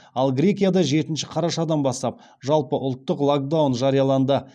ал грекияда жетінші қарашадан бастап жалпыұлттық локдаун жарияланды